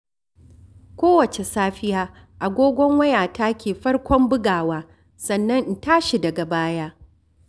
Kowace safiya agogon wayata ke farkon buga wa sannan in tashi daga baya.